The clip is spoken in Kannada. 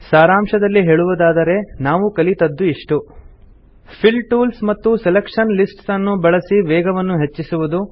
ಸಾರಾಂಶದಲ್ಲಿ ಹೇಳುವುದಾದರೆ ನಾವು ಕಲಿತದ್ದು ಇಷ್ಟು ಫಿಲ್ ಟೂಲ್ಸ್ ಮತ್ತು ಸೆಲೆಕ್ಷನ್ ಲಿಸ್ಟ್ಸ್ ಅನ್ನು ಬಳಸಿ ವೇಗವನ್ನು ಹೆಚ್ಚಿಸುವುದು